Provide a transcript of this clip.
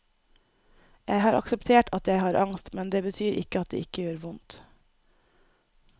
Jeg har akseptert at jeg har angst, men det betyr ikke at det ikke gjør vondt.